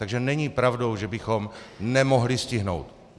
Takže není pravdou, že bychom nemohli stihnout!